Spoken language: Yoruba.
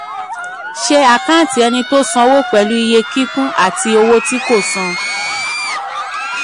ṣe àkántì ẹni tó sanwó pẹ̀lú iye kíkún àti owó tí kò san.